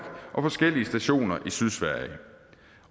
og forskellige stationer i sydsverige